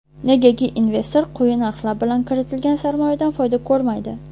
Negaki investor quyi narxlar bilan kiritgan sarmoyadan foyda ko‘rmaydi.